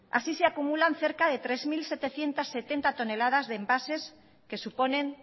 así se acumulan cerca de tres mil setecientos setenta toneladas de envases que suponen